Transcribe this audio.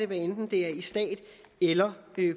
hvad enten det er i stat eller